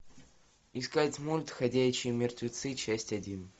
искать мульт ходячие мертвецы часть один